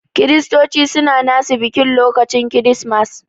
Kiristoci suna nasu biki lokacin kiristimas.